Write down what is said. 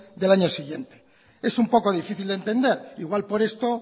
del año siguiente es un poco difícil de entender igual por esto